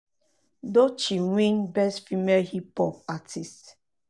doechii win um best female hip hop artist.